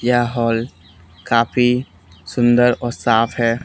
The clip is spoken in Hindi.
यह हाल काफी सुंदर और साफ हैं।